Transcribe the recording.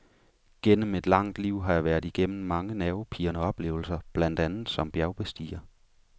Gennem et langt liv har jeg været igennem mange nervepirrende oplevelser blandt andet som bjergbestiger.